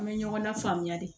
An bɛ ɲɔgɔn lafaamuya de